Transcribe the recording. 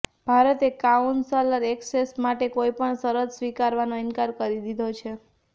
ભારતે counsellor access માટે કોઈ પણ શરત સ્વિકારવાનો ઈનકાર કરી દીધો છે